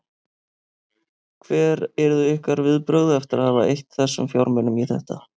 Hver yrðu ykkar viðbrögð eftir að hafa eytt þessum fjármunum í þetta?